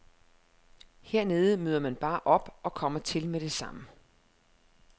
Hernede møder man bare op og kommer til med det samme.